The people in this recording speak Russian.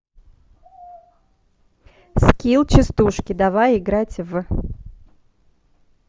скилл частушки давай играть в